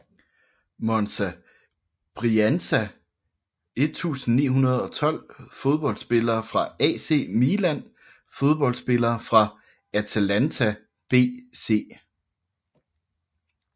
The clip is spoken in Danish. Monza Brianza 1912 Fodboldspillere fra AC Milan Fodboldspillere fra Atalanta BC